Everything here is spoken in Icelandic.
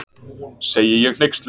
segi ég hneyksluð.